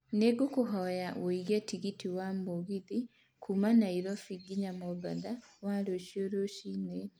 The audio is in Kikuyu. nĩ ngũkũhoya wĩĩge tigiti wa mũgithi kuuma nairobi nginya mombatha wa rũcio rũcinĩ